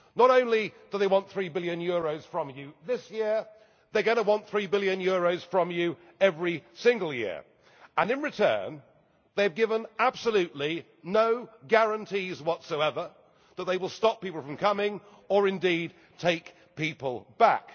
you. Not only do they want EUR 3 billion from you this year, they are going to want EUR 3 billion from you every single year. And in return they have given absolutely no guarantees whatsoever that they will stop people from coming, or indeed take people